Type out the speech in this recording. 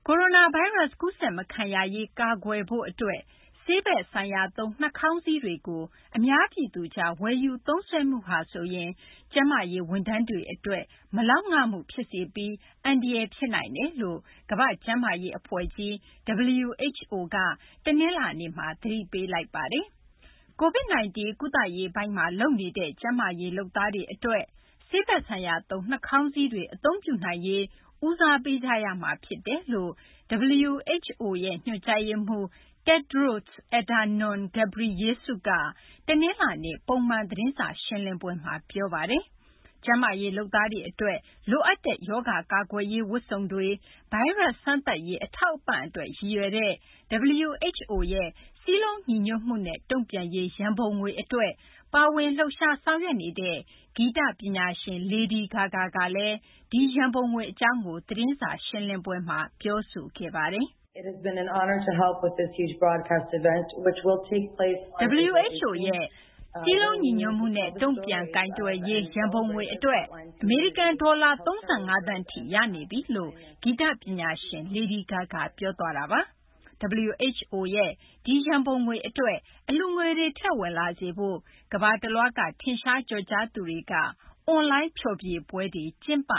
ိုရိုနာဗိုင်းရပ်စ် ကူးစက်မခံရရေး ကာကွယ်ဖို့ အတွက် ဆေးဘက်ဆိုင်ရာသုံး နှာခေါင်းစည်းတွေကို အများပြည်သူကြား ဝယ်ယူသုံးစွဲမှုဟာဆိုရင် ကျန်းမာရေး ဝန်ထမ်းတွေ အတွက် မလောက်ငမှုကို ဖြစ်စေပြီး အန္တရာယ် ဖြစ်စေနိုင်တယ်လို့ ကမ္ဘာ့ကျန်းမာရေး အဖွဲ့ကြီး WHO က တနလာၤနေ့မှာ သတိပေးလိုက်ပါတယ်။ COVID- 19 ကုသရေးပိုင်းမှာ လုပ်နေတဲ့ ကျန်းမာရေး လုပ်သားတွေ အတွက် ဆေးဘက်ဆိုင်ရာသုံး နှာခေါင်းစည်းတွေ အသုံးပြုနိုင်ရေး ဦးစားပေးကြရမှာ ဖြစ်တယ်လို့ WHO ရဲ့ ညွှန်ကြားရေးမှူး Tedros Adhanom Ghebreyesus က တနလာၤနေ့ ပုံမှန် သတင်းစာ ရှင်းလင်းပွဲမှာ ပြောဆိုသွားတာပါ။ ကျန်းမာရေး လုပ်သားတွေ အတွက် လိုအပ်တဲ့ ရောဂါ ကာကွယ်ရေး ဝတ်စုံတွေ၊ ဗိုင်းရပ်စ် စမ်းသပ်ရေး အထောက်အပံ့ အတွက် ရည်ရွယ်တဲ့ WHO ရဲ့ စည်းလုံးညီညွတ်မှုနဲ့ တုံ့ပြန်ရေး ရန်ပုံငွေ အတွက် ပါဝင် လှုပ်ရှား ဆောင်ရွက်နေတဲ့ ဂီတပညာရှင် Lady Gaga ကလည်း ဒီရန်ပုံငွေ အကြောင်း ရှင်းလင်းခဲ့ပါတယ်။ “WHO ရဲ့ စည်းလုံးညီညွတ်မှုနဲ့ တုံ့ပြန်ရေး ရန်ပုံငွေ အတွက် အမေရိကန် ဒေါ်လာ ၃၅ သန်းထိ ရရှိနေပြီ”လို့ ဂီတပညာရှင် Lady Gaga ပြောသွားတာပါ။ WHO ရဲ့ ဒီရန်ပုံငွေ အတွက် အလှူငွေတွေ ထည့်ဝင်လာစေဖို့ ကမ္ဘာတလွှားက ထင်ရှားကျော်ကြားသူတွေက အွန်လိုင်း ဖျော်ဖြေပွဲတွေ ကျင်းပ